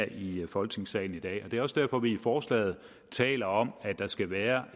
i folketingssalen i dag det er også derfor at vi i forslaget taler om at der skal være